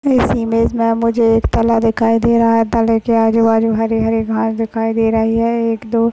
इस इमेज मे मुझे एक तला दिखाई दे रहा है तले के आजूबाजू हरे-हरे घास दिखाई दे रहे है एक दो--